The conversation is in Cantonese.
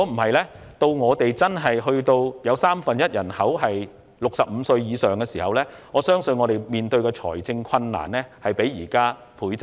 否則，當香港真的有三分一人口在65歲以上時，我相信政府屆時所要面對的財政困難，將會倍增。